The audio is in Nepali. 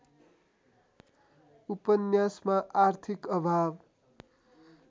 उपन्यासमा आर्थिक अभाव